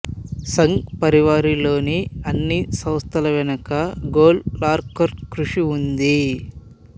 సంఘ్ పరివార్ లోని అన్ని సంస్థల వెనుక గోల్వల్కర్ కృషి ఉంది